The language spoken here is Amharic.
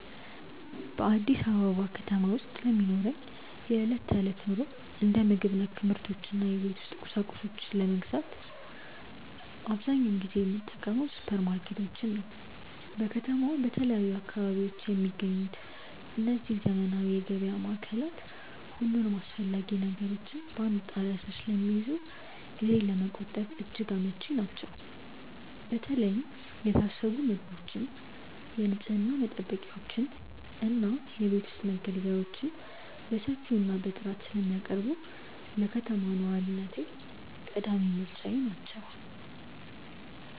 በአዲስ አበባ ከተማ ውስጥ ለሚኖረኝ የዕለት ተዕለት ኑሮ፣ እንደ ምግብ ነክ ምርቶች እና የቤት ውስጥ ቁሳቁሶችን ለመግዛት አብዛኛውን ጊዜ የምጠቀመው ሱፐርማርኬቶችን ነው። በከተማዋ በተለያዩ አካባቢዎች የሚገኙት እነዚህ ዘመናዊ የገበያ ማዕከላት፣ ሁሉንም አስፈላጊ ነገሮች በአንድ ጣሪያ ስር ስለሚይዙ ጊዜን ለመቆጠብ እጅግ አመቺ ናቸው። በተለይ የታሸጉ ምግቦችን፣ የንፅህና መጠበቂያዎችን እና የቤት ውስጥ መገልገያዎችን በሰፊው እና በጥራት ስለሚያቀርቡ፣ ለከተማ ነዋሪነቴ ቀዳሚ ምርጫዬ ናቸው።